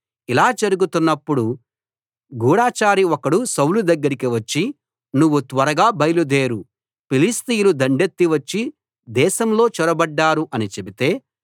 ఇలా జరుగుతున్నప్పుడు గూఢచారి ఒకడు సౌలు దగ్గరికి వచ్చి నువ్వు త్వరగా బయలుదేరు ఫిలిష్తీయులు దండెత్తి వచ్చి దేశంలో చొరబడ్డారు అని చెబితే